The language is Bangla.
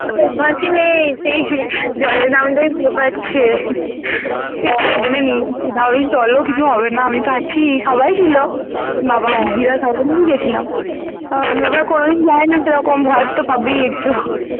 জলে নামতে ছে আমি কিছু হবে না আমিতো আছি সবাই ছিল হ্যাঁ বাবা দিদিরা গেছিলাম হুম কোনোদিন যায়নি তো সেরকম ভয় তো পাবেই একটু।